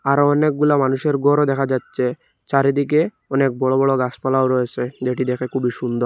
আরও অনেকগুলা মানুষের গরও দেখা যাচ্চে চারিদিকে অনেক বড় বড় গাসপালাও রয়েসে যেটি দেখে খুবই সুন্দর --